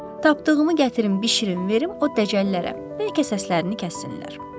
Tapdığımı gətirim, bişirim, verim o dəcəllərə, bəlkə səslərini kəssinlər.